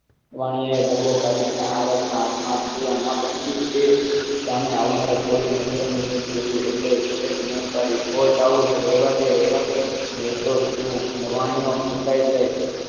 વાણીયા એ ડાબો કાઢીને આરબ ના આત્મા ના બન્યું તે સામે આવનાર એક કોળીઓ નજરાણું ને ચેટ બૂમ બાળી ઓ રેવા દે નઈ તો તું નવાણિયો કુટાઇ જઈશ.